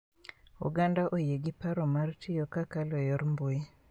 Oganda oyie gi paro mar tiyo kakalo e yor mbui